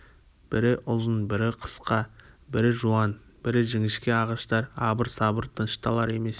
бірі ұзын бірі қысқа бірі жуан бірі жіңішке ағаштар абыр-сабыр тынышталар емес